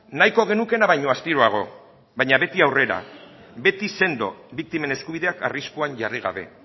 nahiko genukeena baino astiroago baina beti aurrera beti sendo biktimen eskubideak arriskuan jarri gabe